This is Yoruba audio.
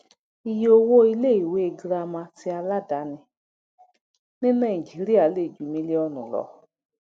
iye owó ilé ìwé girama ti aladaani ní nàìjíríà lè ju mílíọnù lọ